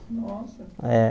Nossa! É